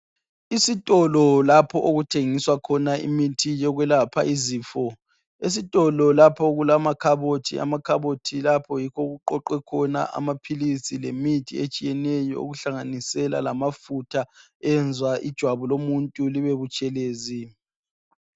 Isitolo lapho okuthengiswa khona imithi yokwelapha izifo esitolo lapho okulama khabothi amakhabothi lapho yikho okuqoqwe khona amaphilisi lemithi etshiyeneyo okuhlanganisela lamafutha eyenzwa ijwabu muntu libelutshelezi